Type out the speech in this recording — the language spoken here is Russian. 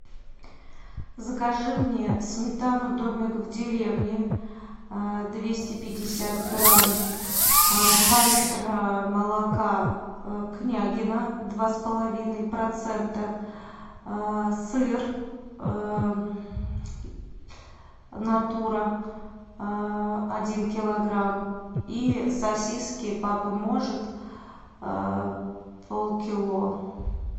закажи мне сметану домик в деревне двести пятьдесят грамм два литра молока княгино два с половиной процента сыр натура один килограмм и сосиски папа может полкило